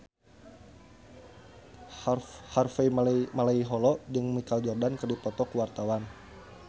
Harvey Malaiholo jeung Michael Jordan keur dipoto ku wartawan